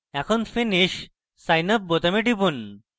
এখন finish sign up বোতামে টিপুন